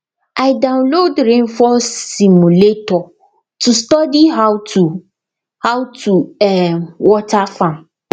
i download rainfall simulator to study how to how to um water farm